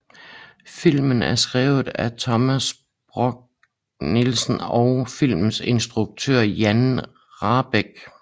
Filmen er skrevet af Thomas Borch Nielsen og filmens instruktør Jan Rahbek